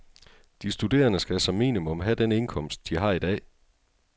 De studerende skal som minimum have den indkomst, de har i dag.